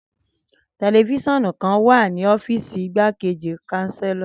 Tẹlifisiọnu kan wa ni ọfiisi Igbakeji Chancellor